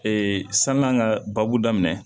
Ee sann'an ka baabu daminɛ